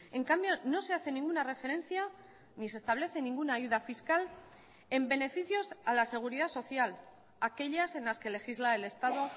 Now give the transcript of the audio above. en cambio no se hace ninguna referencia ni se establece ninguna ayuda fiscal en beneficios a la seguridad social aquellas en las que legisla el estado